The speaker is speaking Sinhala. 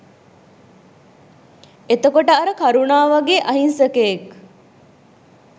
එතකොට අර කරුණා වගේ අහිංසකයෙක්